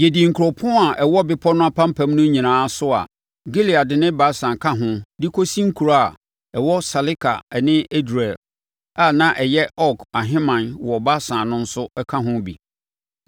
Yɛadi nkuropɔn a ɛwɔ bepɔ no apampam no nyinaa so a Gilead ne Basan ka ho de kɔsi nkuro a ɛwɔ Saleka ne Edrei, a na ɛyɛ Og ahemman wɔ Basan no nso ka ho bi.